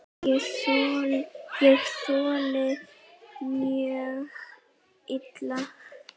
Ég þoli það mjög illa.